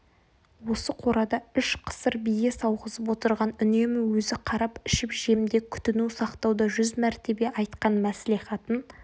осы қорада үш қысыр бие сауғызып отырған үнемі өзі қарап ішіп-жемде күтіну-сақтауда жүз мәртебе айтқан мәслихатын